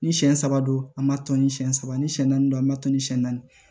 Ni siɲɛ saba don an ma tɔni siɲɛ saba ni siyɛn naani don an ma tɔni siyɛn naani